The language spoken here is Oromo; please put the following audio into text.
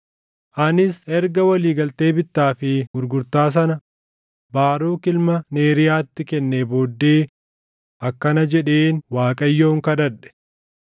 “Anis erga walii galtee bittaa fi gurgurtaa sana Baaruk ilma Neeriyaatti kennee booddee akkana jedheen Waaqayyoon kadhadhe: